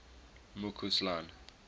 mccausland